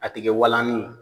A ti kɛ walanni